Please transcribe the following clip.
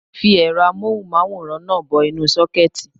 Mo fi ẹ̀rọ amóhùn máwòrán náà bọ inú sókẹ́ẹ̀tì